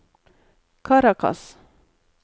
Caracas